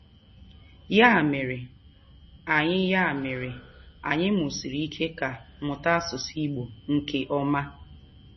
Ya mere, anyi Ya mere, anyi musiri ike ka muta asusu igbo nke oma.